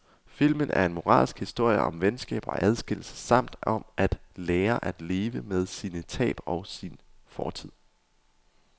Filmen er en moralsk historie om venskab og adskillelse samt om at lære at leve med sine tab og sin fortid.